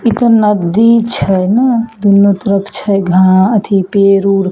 इ ते नदी छै ना दुनो तरफ छै घा एथी पेड़ उड़ --